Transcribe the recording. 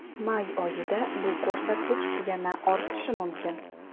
May oyida bu ko‘rsatkich yana ortishi mumkin.